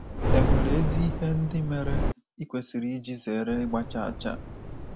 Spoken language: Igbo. È nwere ezi ihe ndị mere i kwesịrị iji zere ịgba chaa chaa?